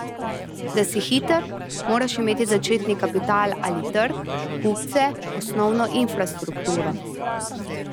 Da si hiter, moraš imeti začetni kapital ali trg, kupce, osnovno infrastrukturo.